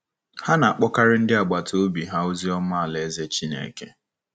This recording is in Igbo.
Ha na-akpọkarị ndị agbata obi ha ozi ọma Alaeze Chineke.